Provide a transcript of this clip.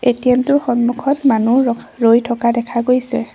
ATM টোৰ সন্মুখত মানুহ ৰখ ৰৈ থকা দেখা গৈছে।